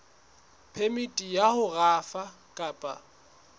phemiti ya ho rafa kapa